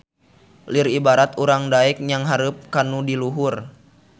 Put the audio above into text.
Lir ibarat urang daek nyanghareup kanu di luhur